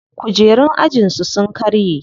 Kujerun ajin su sun karye.